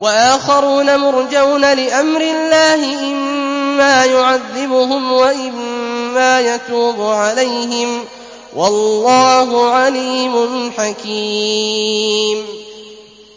وَآخَرُونَ مُرْجَوْنَ لِأَمْرِ اللَّهِ إِمَّا يُعَذِّبُهُمْ وَإِمَّا يَتُوبُ عَلَيْهِمْ ۗ وَاللَّهُ عَلِيمٌ حَكِيمٌ